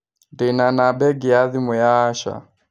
Ndĩ na namba ĩngĩ ya thimũ ya Asha